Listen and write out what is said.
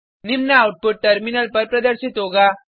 निम्न output terminal पर प्रदर्शित होगा